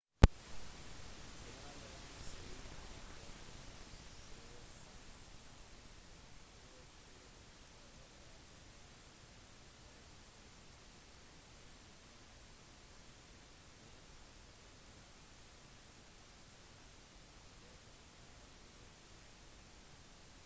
general james ewing hadde planlagt å frakte milits på 700 over elva ved trenton ferry beslaglegge broen over assunpink creek og hindre eventuelle fiendtlige tropper i å flykte